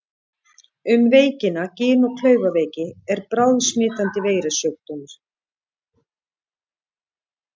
Um veikina Gin- og klaufaveiki er bráðsmitandi veirusjúkdómur.